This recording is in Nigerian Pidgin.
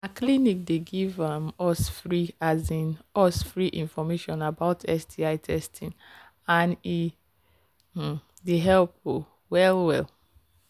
na clinic they give um us free um us free information about sti testing and he um they help um well well